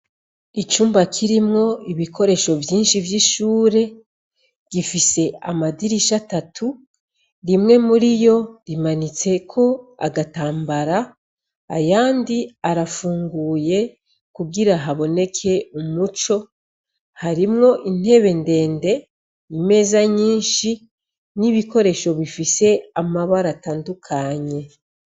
Icumba kirimwo ibikoresho vyinshi vy'ishure gifise amadirisha atatu, rimwe muri yo rimanitseko agatambara, ayandi arafunguye kugira haboneke umuco. Harimwo intebe ndende, imeza nyinshi, n'ibikoresho bifise amabara atandukanye.